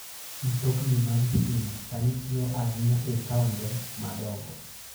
Mtokni mag stima sani tiyo ahinya e taonde madongo.